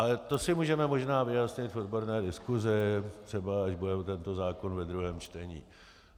Ale to si můžeme možná vyjasnit v odborné diskusi, třeba až bude tento zákon ve druhém čtení.